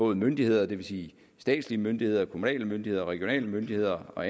myndigheder det vil sige statslige myndigheder kommunale myndigheder regionale myndigheder og